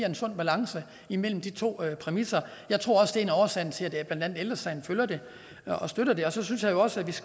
en sund balance imellem de to præmisser jeg tror også en af årsagerne til at blandt andet ældre sagen følger det og støtter det og så synes jeg jo også